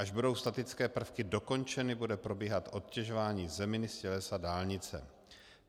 Až budou statické prvky dokončeny, bude probíhat odtěžování zeminy z tělesa dálnice.